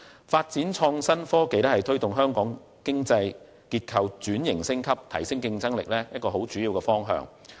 發展創新科技是推動香港經濟結構轉型升級、提升競爭力的主要方向。